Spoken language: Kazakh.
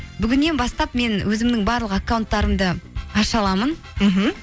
бүгіннен бастап мен өзімнің барлық аккаунттарымды аша аламын мхм